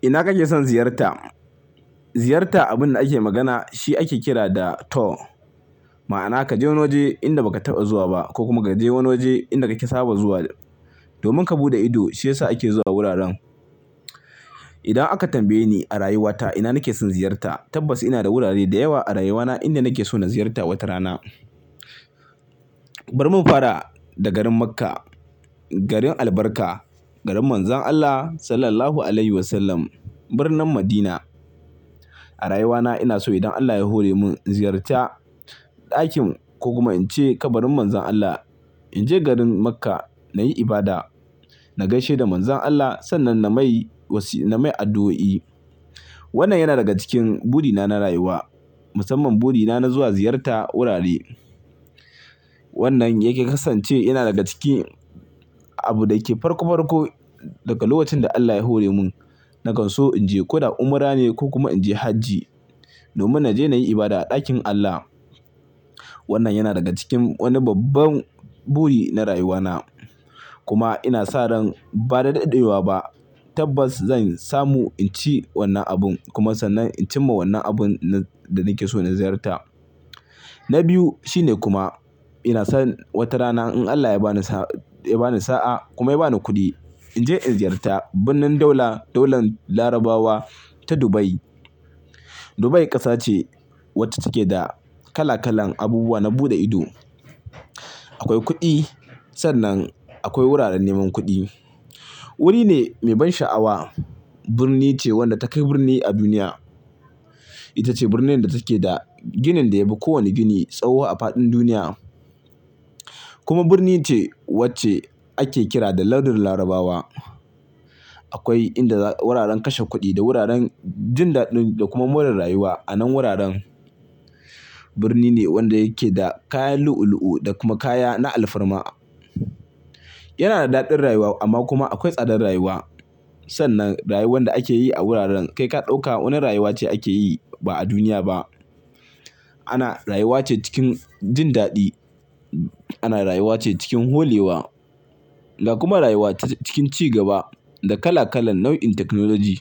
Ina kake son ziyarta? Ziyarta, abin da ake magana shi ake kira da tour. Ma'ana ka je wani waje inda ba ka taɓa zuwa ba ko kuma ka je wani waje inda kake saba zuwa domin ka buɗe ido, shi yasa ake zuwa wuraren. Idan aka tambaye ni a rayuwata ina nake son ziyarta, tabbas ina da wurare da yawa a rayuwana inda nake so na ziyarta wata rana. Bar mu fara da garin Makkah, garin albarka, garin Manzon Allah sallallahu alaihi wasallam, birnin Madina. A rayuwana ina so idan Allah ya hore mun in ziyarta ɗakin ko kuma in je kabarin Manzon Allah. In je garin Makkah na yi ibada, na gaishe da Manzon Allah sannan na mai wasi-- na mai addu'o'i. Wanna yana daga cikin buri na na rayuwa, musamman buri na na zuwa ziyarta wurare. Wannan yake kasance yana daga cikin abu da yake farko farko daga lokacin da Allah ya hore mun. Nakan so in je ko da umra ne ko kuma in je hajji domin na je na yi ibada a ɗakin Allah. Wannan yana daga cikin wani babban buri na rayuwana. Kuma ina sa ran ba da daɗewa ba tabbas zan samu in ci wannan abun kuma sannan in cimma wannan abun da nake so na ziyarta. Na biyu shine kuma ina san wata rana in Allah ya bani sa-- ya bani sa'a kuma ya bani kuɗi, in je in ziyarta birnin daula, daular Larabawa ta Dubai. Dubai ƙasa ce wacce take da kala kalan abubuwa na buɗe ido. Akwai kuɗi sannan akwai wuraren neman kuɗi. Wuri ne mai ban sha'awa, birni ce wadda takai birni a duniya. Ita ce birnin da take da ginin da yafi kowane gini tsawo a faɗin duniya. Kuma birni ce wacce ake kira da Lardin Larabawa. Akwai inda wuraren kashe kuɗi da wuraren jin daɗin da kuma more rayuwa a nan wuraren. Birni ne wanda yake da kayan lu'u lu'u da kuma kaya na alfarma. Yana da daɗin rayuwa amma kuma akwai tsadar rayuwa sannan rayuwar da ake yi a wuraren kai ka ɗauka wani rayuwa ce ake yi ba a duniya ba. Ana-- rayuwa ce cikin jin daɗi, ana rayuwa ce cikin holewa da kuma rayuwa ta cikin ci gaba da kala kalan nau'in technology.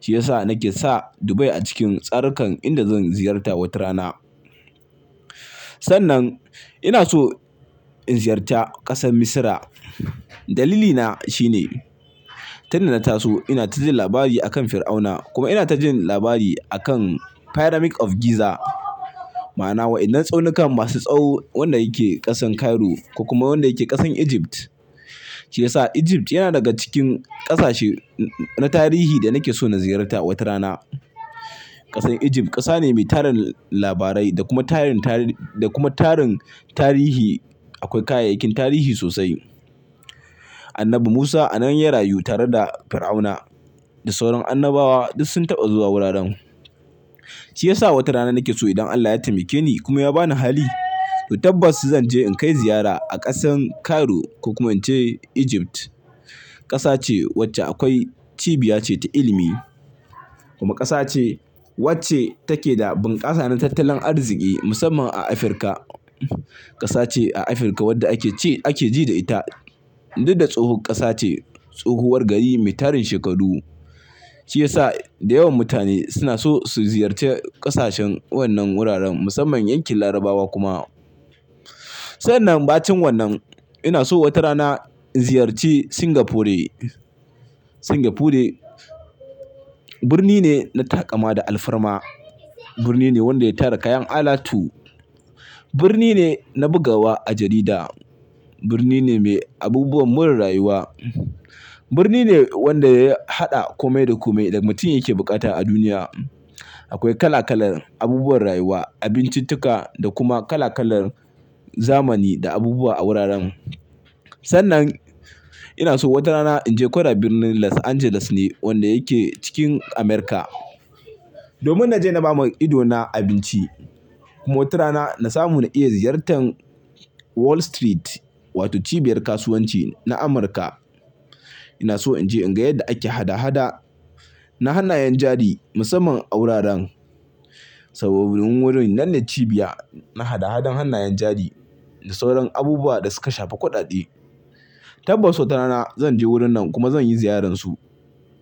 Shi yasa nake sa Dubai a cikin tsarikan inda zan ziyarta wata rana. Sannan ina so in ziyarta ƙasar Misira. Dalilina shine tunda na taso ina ta jin labari a kan Fir'auna kuma ina ta jin labari a kan Pyramid of Giza. Ma'ana waɗannan tsaunukan masu tsawo, wannan yake ƙasan Cairo ko kuma wanda yake ƙasan Egypt. Shi yasa Egypt yana daga cikin ƙasashe na tarihi da nake so na ziyarta wata rana. Ƙasar Egypt ƙasa ne mai tarin labarai da kuma tarin tari-- da kuma tarin tarihi. Akwai kayayyakin tarihi sosai. Annabi Musa a nan ya rayu tare da Fir'auna da sauran annabawa duk sun taɓa zuwa wuraren. Shi yasa wata rana nake so idan Allah ya taimake ni kuma ya bani hali to tabbas zan je in kai ziyara a ƙasan Cairo ko kuma in ce Egypt. Ƙasa ce wacce akwai cibiya ce ta ilimi kuma ƙasa ce wacce take da bunƙasa na tattalin arziki musamman a Afirka. Ƙasa ce a Afirka wadda ake ce-- ake ji da ita duk da tsohon ƙasa ce. Tsohuwar gari mai tarin shekaru. Shi yasa da yawan mutane suna so su ziyarci ƙasashen wannan wuraren musamman yankin Larabawa kuma. Sannan bacin wannan ina so wata rana in ziyarci Singapore. Singapore birni ne na taƙama da alfarma. Birni ne wanda ya tara kayan alatu. Birni ne na bugawa a jarida. Birni ne mai abubuwan more rayuwa. Birni ne wanda ya haɗa kome da kome da mutum yake bukata a duniya. Akwai kala kalan abubuwan rayuwa, abincin-tuka da kuma kala kalan zamani da abubuwa a wuraren. Sannan ina so wata rana in je ko da birnin Los Angeles ne wanda yake cikin Amurka domin na je na ba ma idona abinci. Kuma wata rana na samu na iya ziyartar Wall Street wato cibiyar kasuwanci na Amurka. Ina so in je in ga yadda ake hada hada na hannayen jari musamman a wuraren. Sabobin wurin nan ne cibiya na hada hadar hannayen jari da sauran abubuwa da suka shafi kuɗaɗe. Tabbas wata rana zan je wurin nan kuma zan yi ziyararsu.